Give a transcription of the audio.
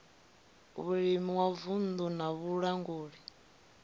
vhulimi wa vunddu na vhalanguli